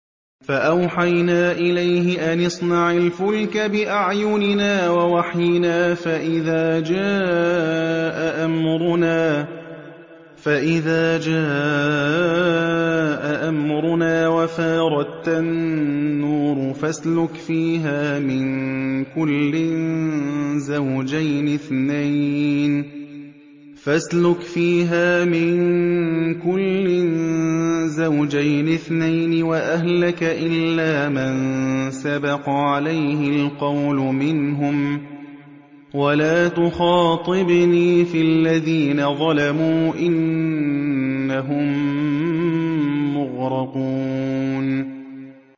فَأَوْحَيْنَا إِلَيْهِ أَنِ اصْنَعِ الْفُلْكَ بِأَعْيُنِنَا وَوَحْيِنَا فَإِذَا جَاءَ أَمْرُنَا وَفَارَ التَّنُّورُ ۙ فَاسْلُكْ فِيهَا مِن كُلٍّ زَوْجَيْنِ اثْنَيْنِ وَأَهْلَكَ إِلَّا مَن سَبَقَ عَلَيْهِ الْقَوْلُ مِنْهُمْ ۖ وَلَا تُخَاطِبْنِي فِي الَّذِينَ ظَلَمُوا ۖ إِنَّهُم مُّغْرَقُونَ